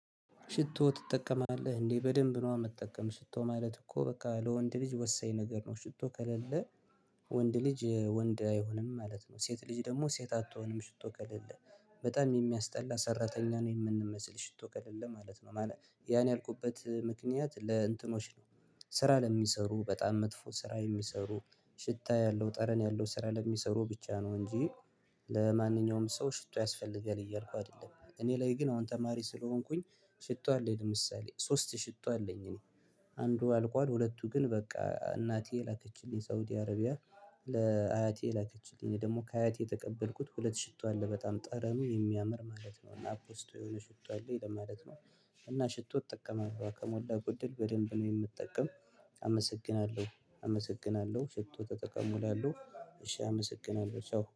ሽቶ ትጠቀማለህ እንዴ? በደንብ ነው የምትጠቀመው ሽቶ ማለት እኮ በቃ ለወንድ ልጅ ወሳኝ ነገር ነው ሽቶ ከሌለ ወንድ ልጅ ወንድ አይሆንም ማለት ነው። ሴት ልጅ ደግሞ ሴት አትሆንም ሽቶ ከሌለ በጣም የሚያስጠላ ሰራተኛ ነው የምንመስል ሽቶ ቀረ ማለት ነው። ማለት ያን ያልኩበት ምክንያት ለእንትኖች ነው። ስራ ለሚሰሩ በጣም መጥፎ ስራ የሚሰሩ ሽታ ያለው ጠረን ያለው ስራ ለሚሰሩ ብቻ ነው እንጂ። ለማንኛውም ሰው ሽቶ ያስፈልጋል እያልኩ አይደለም እኔ ላይ ግን አሁን ተማሪ ስለሆንኩኝ። ሽቶ አለኝ ለምሳሌ ሶስት ሽቶ አለኝ እኔ። አንዱ አልቋል ሁለቱ ግን በቃ እናቴ ላከችልኝ ሳውዲ አረቢያ። ለአያቴ ላከችልኝ ደግሞ ከአያቴ የተቀበልኩት ሁለት ሽቶ አለ በጣም ጠረኑ የሚያምር ማለት ነው እና አፖስቶ የሆነ ሽቶ አለ ይላል ማለት ነው። እና ሽቶ ጠቀመ ከሞላ ጎደል በደንብ ነው የምትጠቀም። አመሰግናለሁ አመሰግናለሁ ሽቶ ተጠቀሙ እላለሁ። እሺ አመሰግናለሁ ቻው